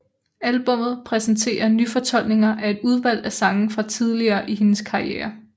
Albummet præsenterer nyfortolkninger af et udvalg af sange fra tidligere i hendes karriere